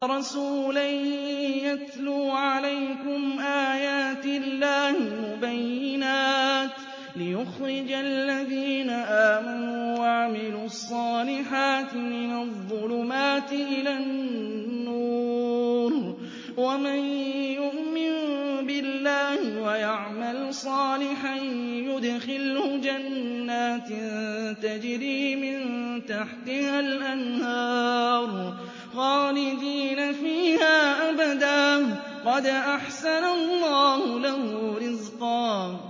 رَّسُولًا يَتْلُو عَلَيْكُمْ آيَاتِ اللَّهِ مُبَيِّنَاتٍ لِّيُخْرِجَ الَّذِينَ آمَنُوا وَعَمِلُوا الصَّالِحَاتِ مِنَ الظُّلُمَاتِ إِلَى النُّورِ ۚ وَمَن يُؤْمِن بِاللَّهِ وَيَعْمَلْ صَالِحًا يُدْخِلْهُ جَنَّاتٍ تَجْرِي مِن تَحْتِهَا الْأَنْهَارُ خَالِدِينَ فِيهَا أَبَدًا ۖ قَدْ أَحْسَنَ اللَّهُ لَهُ رِزْقًا